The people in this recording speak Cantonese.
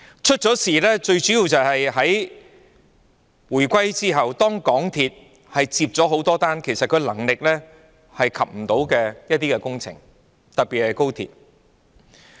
出事最主要的原因，是在回歸後港鐵公司承接了很多能力未及的工程，特別是高鐵。